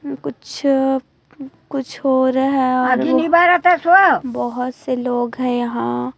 कुछ कुछ हो रहा है और बहुत से लोग है यहाँ --